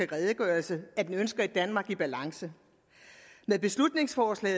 redegørelse at den ønsker et danmark i balance med beslutningsforslag